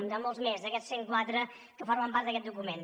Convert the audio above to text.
n’hi ha molts més en aquests cent quatre que formen part d’aquest document